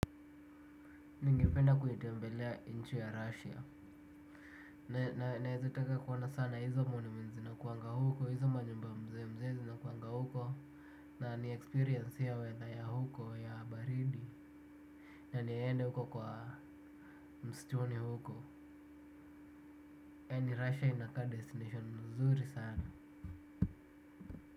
Ningependa kuitembelea nchi ya russia. Naeza teka kuoana sana hizo monuments zinakuanga huko hizo majumba mzee mzee zinakuanga huko. Na niexperience hiyo weather ya huko ya baridi. Na niende huko kwa mstuni huko. Kwani russia inaka destination mzuri sana.